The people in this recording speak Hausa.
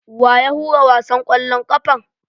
Wa ya hura wasan ƙwallon ƙafan?